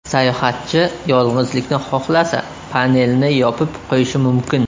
Sayohatchi yolg‘izlikni xohlasa panelni yopib qo‘yishi mumkin.